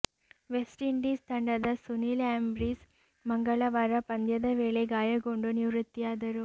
West Indies ತಂಡದ Sunil Ambris ಮಂಗಳವಾರ ಪಂದ್ಯದ ವೇಳೆ ಗಾಯಗೊಂಡು ನಿವೃತ್ತಿಯಾದರು